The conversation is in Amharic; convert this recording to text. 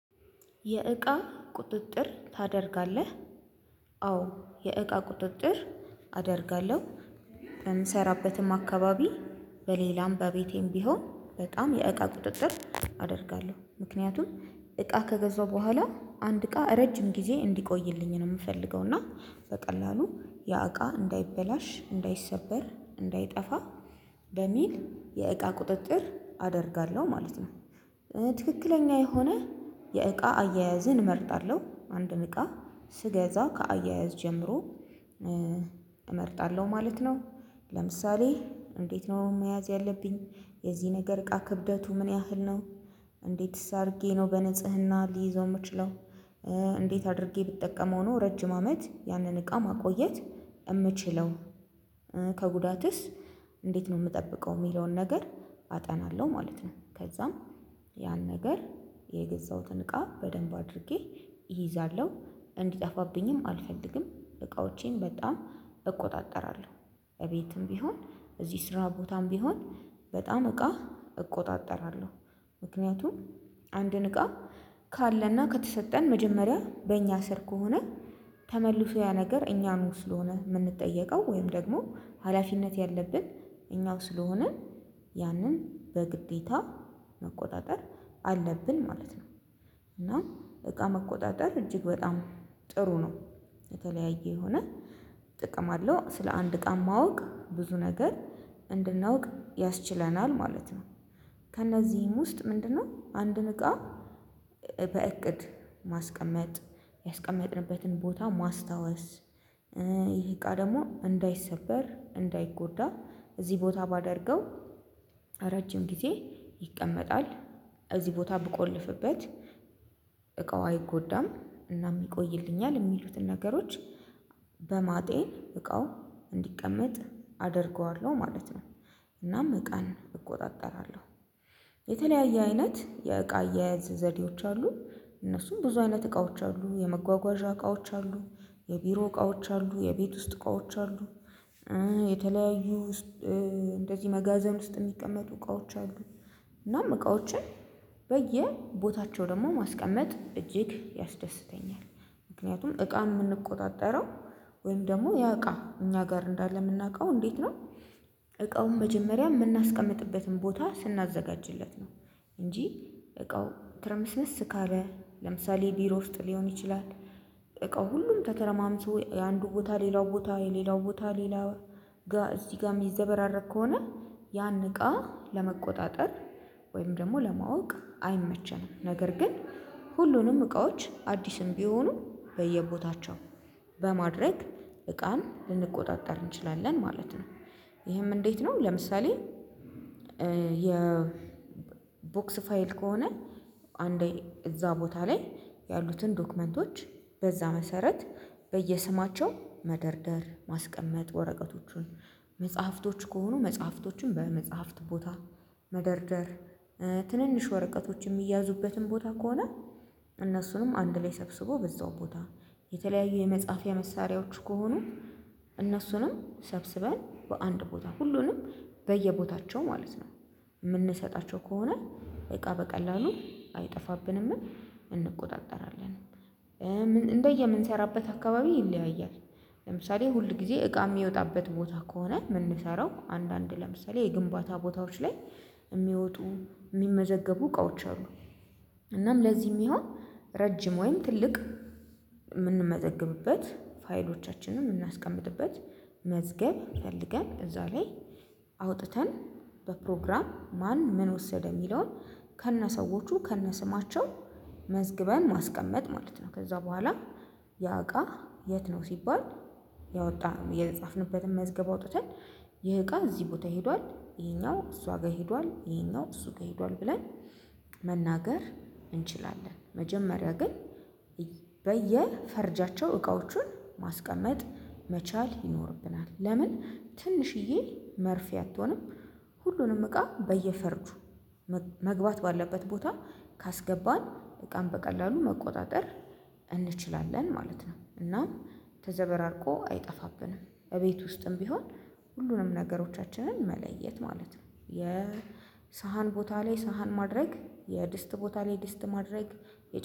የእቃ ቁጥጥር ታደርጋለህ? አዎ የእቃ ቁጥጥር አደርጋለሁ የምሰራበትም አካባቢ በሌላም በቤቴም ቢሆን በጣም የእቃ ቁጥጥር አደርጋለሁ ምክንያቱም እቃ ከገዛው በኋላ አንድ እቃ ረጅም ጊዜ እንዲቆይልኝ ነው የምፈልገው እና በቀላሉ ያእቃ እንዳይበላሽ እንዳይሰበር እንዳይጠፋ በሚል የእቃ ቁጥጥር አደርጋለሁ ማለት ነው። ትክክለኛ የሆነ የእቃ አያያዝን እመርጣለሁ አንድን እቃ ስገዛ ከአያያዝ ጀምሮ እመርጣለሁ ማለት ነው። ለምሳሌ እንዴት ነው መያዝ ያለብኝ የዚህ ነገር እቃ ክብደቱ ምን ያህል ነው? እንዴትስ አድርጌ ነው በንጽህና ሊይዘው የምችለው? እንዴት አድርጌ ብትጠቀመው ነው ረጅም አመት ያንን እቃ ማቆየት የምችለው? ከጉዳትስ እንዴት ነው የምጠብቀው የሚለውን ነገር አጠናለሁ ማለት ነው። ከዛም ያን ነገር የገዛሁትን እቃ በደንብ አድርጌ እይዛለሁ እንዲጠፋብኝም አልፈልግም እቃዎቼን በጣም እቆጣጠራለሁ እቤትም ቢሆን እዚህ ስራ ቦታም ቢሆን በጣም እቃ እቆጣጠራለሁ። ምክንያቱም አንድን እቃ ካለና ከተሰጠን መጀመሪያ በእኛ ስር ከሆነ ተመልሶ ያ ነገር እኛኑ ስለሆነ የምንጠየቀው ወይም ደግሞ ሀላፊነት ያለብን እኛው ስለሆነ ያንን በግዴታ መቆጣጠር አለብን ማለት ነው። እና እቃ መቆጣጠር እጅግ በጣም ጥሩ ነው። የተለያየ የሆነ ጥቅም አለው ስለ አንድ እቃ ማወቅ ብዙ ነገር እንድናውቅ ያስችለናል ማለት ነው። ከእነዚህም ውስጥ ምንድነው አንድን እቃ በእቅድ ማስቀመጥ ያስቀመጥንበትን ቦታ ማስታወስ? ይሄ እቃ ደግሞ እንዳይሰበር እንዳይጎዳ እዚህ ቦታ ባደርገው ረጅም ጊዜ ይቀመጣል እዚህ ቦታ ብቆልፍበት እቃው አይጎዳም እናም ይቆይልኛል የሚሉትን ነገሮች በማጤን እቃው እንዲቀመጥ አደርገዋለሁ ማለት ነው። እናም እቃን እቆጣጠራለሁ። የተለያየ አይነት የእቃ አያያዝ ዘዴዎች አሉ እነሱም ብዙ አይነት እቃዎች አሉ የመጓጓዣ እቃዎች አሉ የቢሮ እቃዎች አሉ የቤት ውስጥ እቃዎች አሉ። የተለያዩ እንደዚህ መጋዘን ውስጥ የሚቀመጡ እቃዎች አሉ እናም እቃዎችን በየቦታቸው ደግሞ ማስቀመጥ እጅግ ያስደስተኛል ምክንያቱም እቃ የምንቆጣጠረው ወይም ደግሞ ያ እቃ እኛ ጋር እንዳለ የምናውቀው እንዴት ነው? እቃውን መጀመሪያ የምናስቀምጥበትን ቦታ ስናዘጋጅለት ነው። እንጂ እቃው ትርምስምስ ካለ ለምሳሌ ቢሮ ውስጥ ሊሆን ይችላል። እቃው ሁሉም ተተረማምሶ የአንዱ ቦታ ሌላው ቦታ የሌላው ቦታ ሌላ ጋር እዚህ ጋርም የሚዘበራረቅ ከሆነ ያን እቃ ለመቆጣጠር ወይም ደግሞ ለማወቅ አይመቸንም ነገር ግን ሁሉንም እቃዎች አዲስም ቢሆኑ በየቦታቸው በማድረግ እቃን ልንቆጣጠር እንችላለን ማለት ነው። ይሄም እንዴት ነው ለምሳሌ? የ ቦክስ ፋይል ከሆነ አንዴ እዛ ቦታ ላይ ያሉትን ዶክመንቶች በዛ መሰረት በየስማቸው መደርደር ማስቀመጥ ወረቀቶቹን መጽሐፍቶች ከሆኑ መጽሐፍቶችን በመጽሐፍት ቦታ መደርደር ትንንሽ ወረቀቶች የሚያዙበትን ቦታ ከሆነ እነሱንም አንድ ላይ ሰብስቦ በዛው ቦታ የተለያዩ የመጽሐፍያ መሳሪያዎች ከሆኑ እነሱንም ሰብስበን በአንድ ቦታ ሁሉንም በየቦታቸው ማለት ነው። የምንሰጣቸው ከሆነ እቃ በቀላሉ አይጠፋብንም እንቆጣጠራለን። እንደየምንሰራበት አካባቢ ይለያያል። ለምሳሌ ሁል ጊዜ እቃ የሚወጣበት ቦታ ከሆነ የምንሰራው አንዳንድ ለምሳሌ የግንባታ ቦታዎች ላይ የሚወጡ የሚመዘገቡ እቃዎች አሉ እናም ለዚህም ይሁን ረጅም ወይም ትልቅ የምንመዘገብበት ፋይሎቻችንን የምናስቀምጥበት መዝገብ ፈልገን እዛ ላይ አውጥተን በፕሮግራም ማን ምን ወሰደ የሚለውን ከነሰዎቹ ከነስማቸው መዝግበን ማስቀመጥ ማለት ነው። ከዛ በኋላ ያ እቃ የት ነው ሲባል? ያወጣ የጻፍንበትን መዝገብ አውጥተን ይህ እቃ እዚህ ቦታ ሄዷል ይሄኛው እሷ ጋር ሄዷል ይሄኛው እሱ ጋር ሄዷል ብለን መናገር እንችላለን። መጀመሪያ ግን በየፈርጃቸው እቃዎችን ማስቀመጥ መቻል ይኖርብናል ለምን ትንሽዬ መርፌ አትሆንም? ሁሉንም እቃ በየፈርጁ መግባት ባለበት ቦታ ካስገባን እቃን በቀላሉ መቆጣጠር እንችላለን ማለት ነው። እናም ተዘበራርቆ አይጠፋብንም እቤት ውስጥም ቢሆን ሁሉንም ነገሮቻችንን መለየት ማለት ነው። የሳህን ቦታ ላይ ሳህን ማድረግ የድስት ቦታ ላይ ድስት ማድረግ